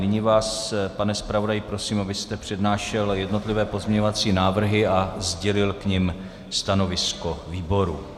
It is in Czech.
Nyní vás, pane zpravodaji, prosím, abyste přednášel jednotlivé pozměňovací návrhy a sdělil k nim stanovisko výboru.